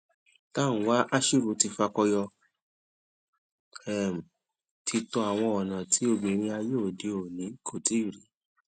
tanwa ashiru ti fakọyo um títọ àwọn ọnà tí obìrin ayé òde òni kò tí rí